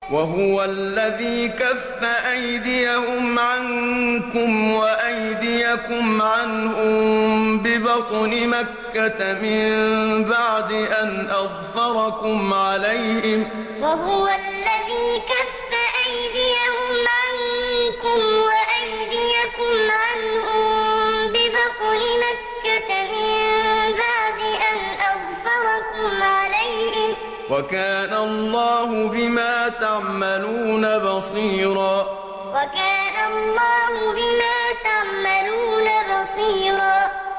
وَهُوَ الَّذِي كَفَّ أَيْدِيَهُمْ عَنكُمْ وَأَيْدِيَكُمْ عَنْهُم بِبَطْنِ مَكَّةَ مِن بَعْدِ أَنْ أَظْفَرَكُمْ عَلَيْهِمْ ۚ وَكَانَ اللَّهُ بِمَا تَعْمَلُونَ بَصِيرًا وَهُوَ الَّذِي كَفَّ أَيْدِيَهُمْ عَنكُمْ وَأَيْدِيَكُمْ عَنْهُم بِبَطْنِ مَكَّةَ مِن بَعْدِ أَنْ أَظْفَرَكُمْ عَلَيْهِمْ ۚ وَكَانَ اللَّهُ بِمَا تَعْمَلُونَ بَصِيرًا